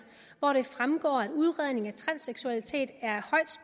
hvor det fremgår at udredning af transseksualitet er